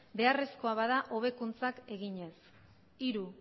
beharrezkoa bada hobekuntzak eginez hiru